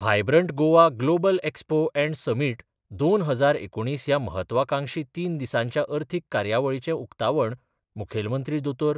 Vibrant Goa global expo and समीटदोन हजार एकुणीस ह्या म्हत्वाकांक्षी तीन दिसांच्या अर्थीक कार्यावळीचें उकतावण मुखैलमंत्री दोतोर.